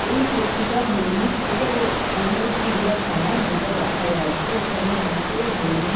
এই পশুটা হরিণ। এটা বো বোধ হয় চিড়িয়াখানা। যেটা দেখা যাচ্ছে এখানে দুটো হরিণ --